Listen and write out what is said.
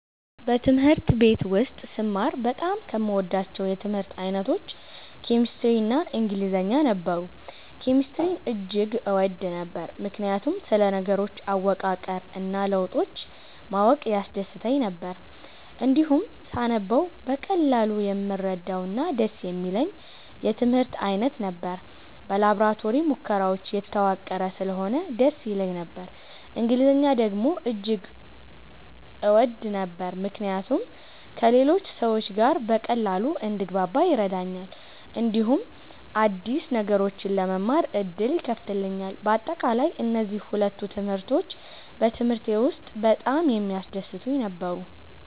በትምህርት ቤት ውስጥ ስማር በጣም ከምወዳቸው የትምህርት አይነቶች ኬሚስትሪ እና ኢንግሊዝኛ ነበሩ። ኬሚስትሪን እጅግ እወድ ነበር፣ ምክንያቱም ስለ ነገሮች አወቃቀር እና ለውጦች ማወቅ ያስደስተኝ ነበር። እንዲሁም ሳነበው በቀላሉ የምረዳውና ደስ የሚለኝ የትምህርት አይነት ነበር። በላቦራቶሪ ሙከራዎች የተዋቀረ ስለሆነ ደስ ይለኝ ነበር። እንግሊዝኛን ደግሞ እጅግ እወድ ነበር፣ ምክንያቱም ከሌሎች ሰዎች ጋር በቀላሉ እንድግባባ ይረዳኛል፣ እንዲሁም አዲስ ነገሮችን ለመማር ዕድል ይከፍትልኛል። በአጠቃላይ፣ እነዚህ ሁለቱ ትምህርቶች በትምህርቴ ውስጥ በጣም የሚያስደስቱኝ ነበሩ።